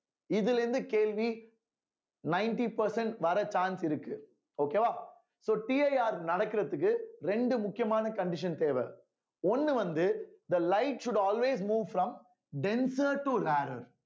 இதுல இருந்து கேள்வி ninety percent வர chance இருக்கு okay வா soCIR நடக்கிறதுக்கு ரெண்டு முக்கியமான condition தேவை ஒண்ணு வந்து the light should always move from denser to rarer